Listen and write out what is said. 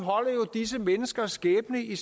disse menneskers skæbne i